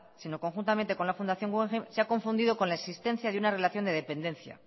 sino conjuntamente con la fundación guggenheim se ha confundido con la existencia de una relación de dependencia